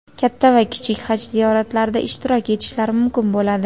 katta va kichik Haj ziyoratlarida ishtirok etishlari mumkin bo‘ladi.